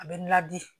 A bɛ n ladi